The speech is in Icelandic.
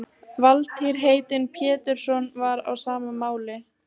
Valtýr heitinn Pétursson var á sama máli.